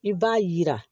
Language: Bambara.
I b'a yira